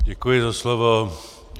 Děkuji za slovo.